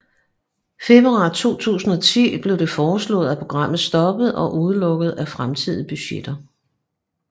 Februar 2010 blev det foreslået at programmet stoppes og udelukkes af fremtidige budgetter